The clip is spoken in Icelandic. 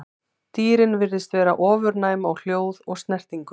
Dýrin virðast vera ofurnæm á hljóð og snertingu.